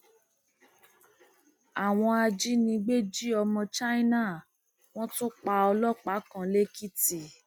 àwọn ajínigbé jí ọmọ china wọn tún pa ọlọpàá kan lẹkìtì